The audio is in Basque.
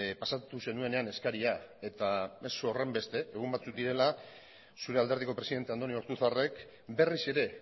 pasatu zenuenean eskaria eta ez horrenbeste egun batzuk direla zure alderdiko presidente andoni ortuzarrek berriz ere